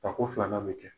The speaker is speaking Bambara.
Tako filanan bɛ kɛ